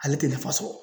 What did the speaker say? Ale tɛ nafa sɔrɔ